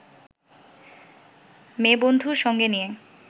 মেয়েবন্ধু সঙ্গে নিয়ে